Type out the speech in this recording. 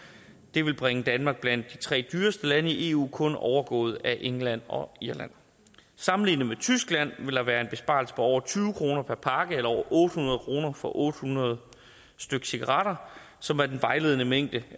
det vil bringe danmark blandt de tre dyreste lande i eu kun overgået af england og irland sammenlignet med tyskland vil der være en besparelse på over tyve kroner per pakke eller over otte hundrede kroner for otte hundrede stykke cigaretter som er den vejledende mængde